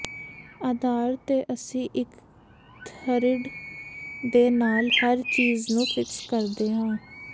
ਆਧਾਰ ਤੇ ਅਸੀਂ ਇੱਕ ਥਰਿੱਡ ਦੇ ਨਾਲ ਹਰ ਚੀਜ ਨੂੰ ਫਿਕਸ ਕਰਦੇ ਹਾਂ